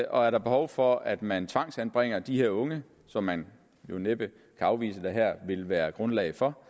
og er der behov for at man tvangsanbringer de her unge som man jo næppe kan afvise at der her vil være grundlag for